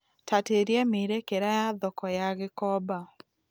tatiĩria miĩrekera ya thoko ya gikomba